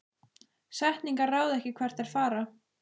Setningar ráða ekki hvert þær fara.